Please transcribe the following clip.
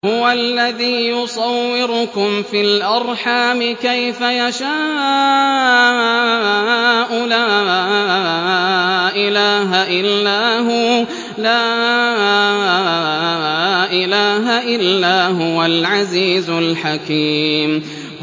هُوَ الَّذِي يُصَوِّرُكُمْ فِي الْأَرْحَامِ كَيْفَ يَشَاءُ ۚ لَا إِلَٰهَ إِلَّا هُوَ الْعَزِيزُ الْحَكِيمُ